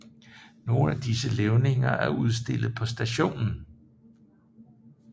Nogle af disse levninger er udstillet på stationen